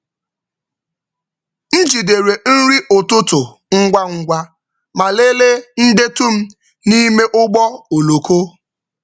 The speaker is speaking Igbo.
M jidere nri ụtụtụ ngwa ngwa ma lelee ndetu m n’ime ụgbọ oloko.